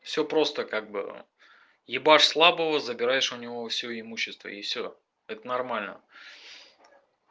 всё просто как было ебашь слабого забираешь у него всё имущество и всё это нормально